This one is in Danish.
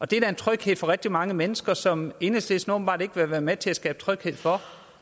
det er da en tryghed for rigtig mange mennesker som enhedslisten åbenbart ikke vil være med til at skabe tryghed for